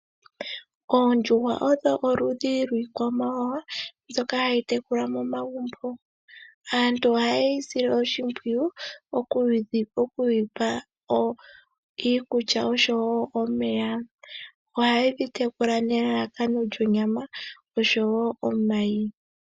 Oondjuhwa odho oludhi lwiikwamawawa mbyoka hayi tekulwa momagumbo. Aantu ohayedhi sile oshimpwiyu moku dhi pa iikulya oshowo omeya. Ohayedhi tekula nelalakano lyonyama oshowo omayi.